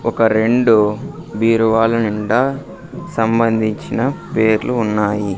ఒక రెండు బీరువాలు నిండా సంబంధించిన పేర్లు ఉన్నాయి.